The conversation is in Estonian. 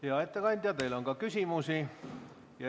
Hea ettekandja, teile on ka küsimusi.